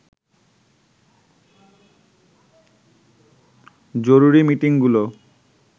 জরুরী মিটিংগুলো